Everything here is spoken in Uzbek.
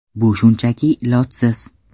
Bu shunchaki ilojsiz.